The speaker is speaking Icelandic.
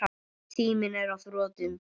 Tíminn er á þrotum.